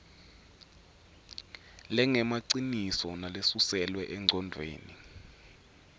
lengemaciniso nalesuselwe engcondvweni